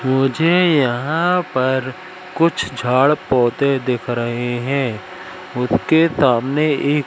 मुझे यहां पर कुछ झाड़ पौधे देख रहे हैं। उसके सामने एक--